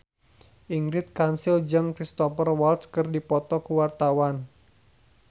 Ingrid Kansil jeung Cristhoper Waltz keur dipoto ku wartawan